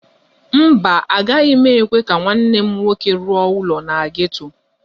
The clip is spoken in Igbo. Mba, agaghị m ekwe ka nwanne m nwoke rụọ ụlọ na geto.